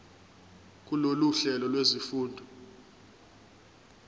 kulolu hlelo lwezifundo